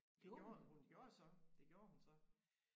Det gjorde hun hun gjorde så det gjorde hun så